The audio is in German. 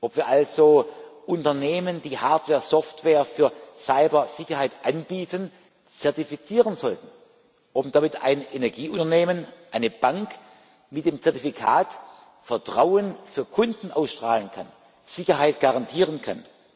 ob wir also Unternehmen, die Hardware, Software für Cybersicherheit anbieten, zertifizieren sollten, damit ein Energieunternehmen, eine Bank mit dem Zertifikat Vertrauen für Kunden ausstrahlen kann, Sicherheit garantieren kann.